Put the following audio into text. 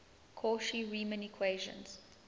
cauchy riemann equations